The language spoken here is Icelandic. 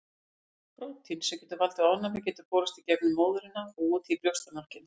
Prótín sem getur valdið ofnæmi getur borist í gegnum móðurina og út í brjóstamjólkina.